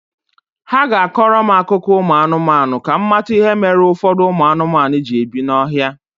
Ha ga-akọrọ m akụkọ ụmụ anụmanụ ka m mata ihe mere ụfọdụ ụmụ anụmanụ ji ebi n'ọhịa